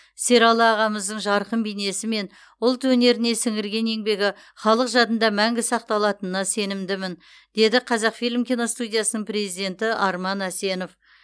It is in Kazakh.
сералы ағамыздың жарқын бейнесі мен ұлт өнеріне сіңірген еңбегі халық жадында мәңгі сақталатынына сенімдімін деді қазақфильм киностудиясының президенті арман әсенов